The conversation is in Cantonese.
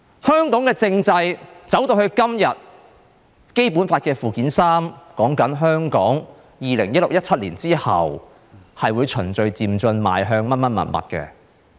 香港的政制走到今天，《基本法》附件三說，香港在2016年、2017年之後，會循序漸進邁向甚麼甚麼。